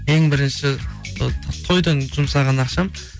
ең бірінші сол тойдың жұмсаған ақшам